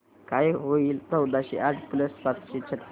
काय होईल चौदाशे आठ प्लस सातशे छ्त्तीस